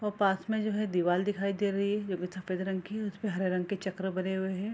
वो पास में जो है दीवाल दिखाई दे रही है जो कि सफ़ेद रंग की है उसपे हरे रंग के चक्र बने हुए हैं।